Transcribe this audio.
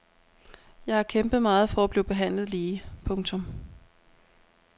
Jeg har kæmpet meget for at blive behandlet lige. punktum